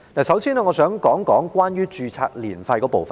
首先，我想說一說註冊年費。